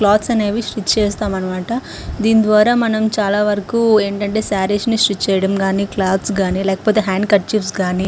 Clothes అనేవి stitch చేస్తాం అనమాట. దీని వాళ్ళ మనం చాల వరకు ఏంటి అంటే సారీస్ ని స్ట్రిచ్ చేయటం కానీ క్లోత్స్ కానీ హ్యాండ్ కార్చిఫీస్ గాని --